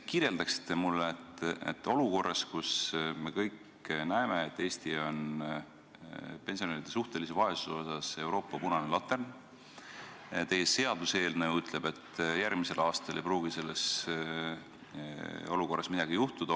Olukorras, kus me kõik näeme, et Eesti on pensionäride suhtelise vaesuse poolest Euroopa punane latern, teie seaduseelnõu ütleb, et järgmisel aastal ei pruugi midagi muutuda.